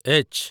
H